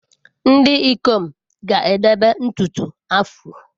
Ndị ikom ga-edebe ntutu afro.